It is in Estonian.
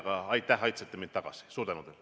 Aga aitäh, et aitasite mind tagasi!